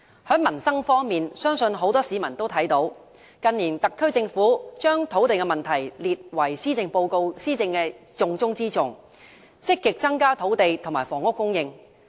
在民生方面，相信很多市民都看見特區政府近年將土地問題列為施政的重中之重，積極增加土地和房屋供應。